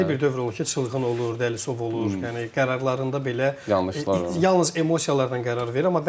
Bəlli bir dövr olur ki, çılğın olur, dəlisov olur, yəni qərarlarında belə, yalnız emosiyalarla qərar verir.